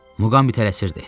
Muqambi tələsirdi.